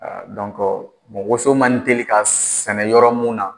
woso man teli ka sɛnɛ yɔrɔ mun na